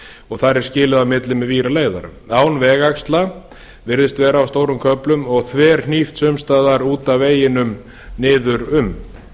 og þar er skilið á milli með víraleiðara án vegaxla virðist vera á stórum köflum og þverhnípt sums staðar út af veginum niður um